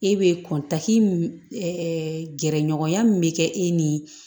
E be kɔntan gɛrɛɲɔgɔnya min be kɛ e ni